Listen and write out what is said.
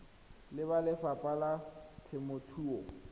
le ba lefapha la temothuo